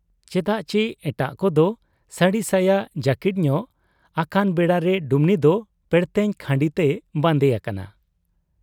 ᱪᱮᱫᱟᱜ ᱪᱤ ᱮᱴᱟᱜ ᱠᱚᱫᱚ ᱥᱟᱹᱲᱤ ᱥᱟᱭᱟ ᱡᱟᱹᱠᱤᱴ ᱧᱚᱜ ᱟᱠᱟᱱ ᱵᱮᱲᱟᱨᱮ ᱰᱩᱢᱱᱤ ᱫᱚ ᱯᱮᱬᱮᱛᱮᱧ ᱠᱷᱟᱸᱰᱤ ᱛᱮᱭ ᱵᱟᱱᱫᱮ ᱟᱠᱟᱱᱟ ᱾